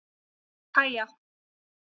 Kaja